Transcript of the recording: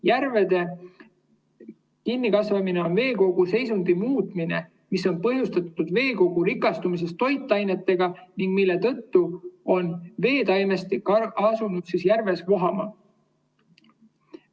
Järvede kinnikasvamine on veekogu seisundi muutumine, mis on põhjustatud veekogu rikastumisest toitainetega, mille tõttu on veetaimestik asunud järves vohama.